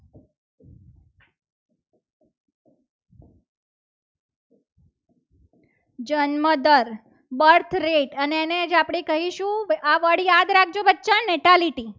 જન્મદર birth date અને એને આપણે કહીશું. આ વડ યાદ રાખજો બચ્ચા mentality